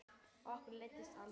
Okkur leiðist aldrei!